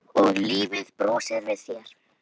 Og lífið brosir við þér!